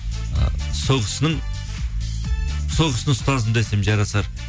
ы сол кісіні ұстазым десем жарасар